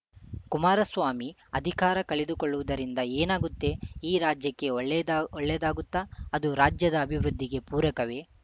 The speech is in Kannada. ಕುಮಾರಸ್ವಾಮಿ ಅಧಿಕಾರ ಕಳೆದುಕೊಳ್ಳುವುದರಿಂದ ಏನಾಗುತ್ತೆ ಈ ರಾಜ್ಯಕ್ಕೆ ಒಳ್ಳೆಯದ ಒಳ್ಳೆಯದಾಗುತ್ತ ಅದು ರಾಜ್ಯದ ಅಭಿವೃದ್ಧಿಗೆ ಪೂರಕವೇ